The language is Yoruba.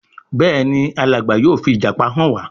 Béèni Alàgbà yóò fi ìjàpá hàn wá.